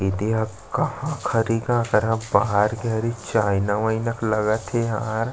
ए दे कहाँ क हरे गा अकरहा बाहर के हरे चायना वायना के लगत हे यार--